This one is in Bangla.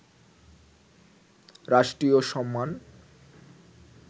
রাষ্ট্রীয় সম্মান